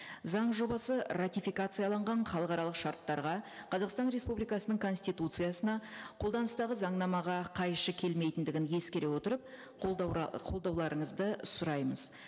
заң жобасы ратификацияланған халықаралық шарттарға қазақстан республикасының конституциясына қолданыстағы заңнамаға қайшы келмейтіндігін ескере отырып қолдауларыңызды сұраймыз